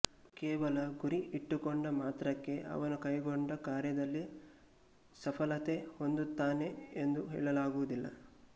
ಕೇವಲ ಗುರಿ ಇಟ್ಟುಕೊಂಡ ಮಾತ್ರಕ್ಕೆ ಅವನು ಕೈಗೊಂಡ ಕಾರ್ಯದಲ್ಲಿ ಸಫಲತೆ ಹೊಂದುತ್ತಾನೆ ಎಂದು ಹೇಳಲಾಗುವುದಿಲ್ಲ